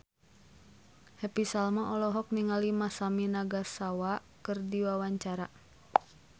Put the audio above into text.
Happy Salma olohok ningali Masami Nagasawa keur diwawancara